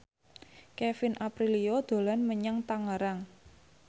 Kevin Aprilio dolan menyang Tangerang